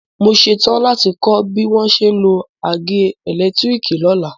Mo ṣetán láti kọ́ ẹ bí wọ́n ṣe ń lo àgé ẹ̀lẹ́tírìkì lọ́la.